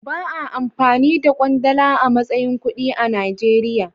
Ba'a amfani da kwandala a matsayin kuɗi a Najeriya.